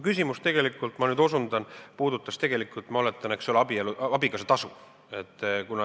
Küsimus puudutas tegelikult, ma oletan, abikaasatasu.